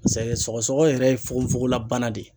sɔgɔsɔgɔ yɛrɛ ye fogofogola bana de ye.